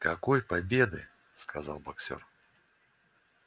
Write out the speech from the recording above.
какой победы сказал боксёр